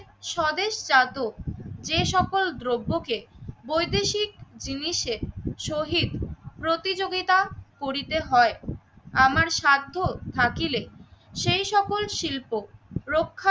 স্বদেশজাত যে সকল দ্রব্যকে বৈদেশিক জিনিসে শহীদ প্রতিযোগীতা করিতে হয় আমার স্বার্থ থাকিলে সেই সকল শিল্প রক্ষার